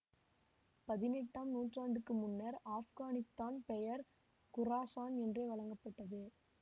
பதினெட்டாம் நூற்றாண்டுக்கு முன்னர் ஆப்கானித்தான் பெயர் குராசான் என்றே வழங்கப்பட்டது